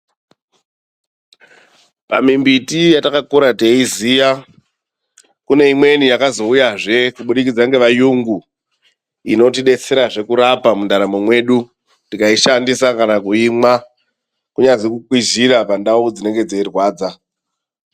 Pamimbiti yetakakura teiziya, kune imweni yakazouyazve kubudikidza ngevayungu. Inotidetserazve kurapa mundaramo mwedu tikaishandisa kana kuimwa, kunyazi kukwizira pandau dzinenge dzeirwadza.